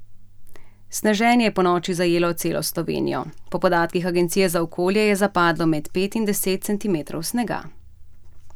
Sneženje je ponoči zajelo celo Slovenijo, po podatkih Agencije za okolje je zapadlo med pet in deset centimetrov snega.